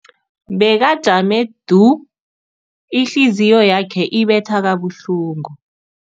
Bekajame du, ihliziyo yakhe ibetha kabuhlungu.